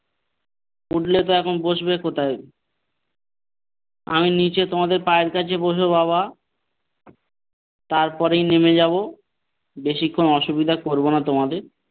উঠলে তো এখন বসবে কোথায় আমি নিচে তোমাদের পায়ের কাছে বসবো বাবা তারপরেই নেমে যাব বেশিক্ষণ অসুবিধা করব না তোমাদের।